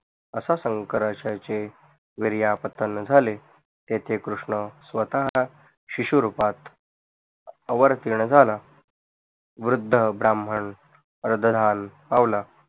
अशा शंकराचे वीर्यपतण झाले तिथे कृष्ण स्वत शिशु रूपात अवरतीर्ण झाला वृद्ध ब्राह्मण अरदहधान पावला